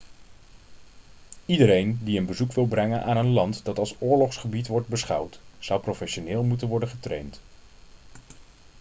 iedereen die een bezoek wil brengen aan een land dat als oorlogsgebied wordt beschouwd zou professioneel moeten worden getraind